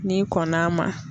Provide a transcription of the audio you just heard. N'i kɔnn'a ma